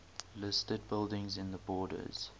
listed buildings in the borders